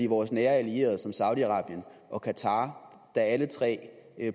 vores nære allierede som saudi arabien og qatar der alle tre